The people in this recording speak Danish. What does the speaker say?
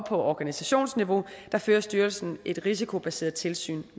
på organisationsniveau fører styrelsen et risikobaseret tilsyn